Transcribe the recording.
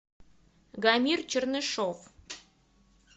гамир чернышов